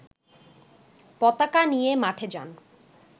পতাকা নিয়ে মাঠে যান